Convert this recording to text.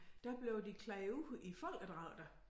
Der blev de klædt ud i folkedragter